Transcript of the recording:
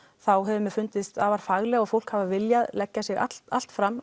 þá hefur mér fundist afar faglegt og fólk hefur viljað leggja sig allt allt fram